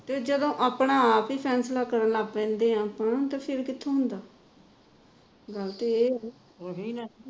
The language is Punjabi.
ਤੇ ਜਦ ਆਪਣਾ ਆਪ ਹੀ sense ਨਾਲ ਕਰਨ ਲੱਗ ਪੈਦੇ ਹਾਂ ਫੇਰ ਉਹਨਾਂ ਦਾ sense ਕਿਉ ਨਹੀ ਹੁੰਦਾ ਗੱਲ ਤਾਂ ਇਹ ਹੈਗੀ